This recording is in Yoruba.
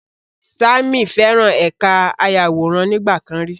Sammy feran ẹka ayaworan nigbakan ri